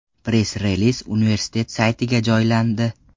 Press-reliz universitet saytiga joylandi .